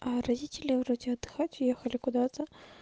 аа родители вроде отдыхать уехали куда-то